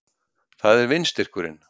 Það er vindstyrkurinn